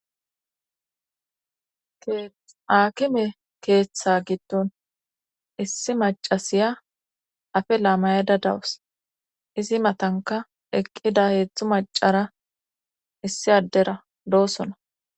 akime keeththa giddon issi macasiya afela mayada dawus izi matanka eqqida heezhzhu macara issi addera doosona